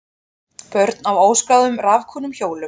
Börn á óskráðum rafknúnum hjólum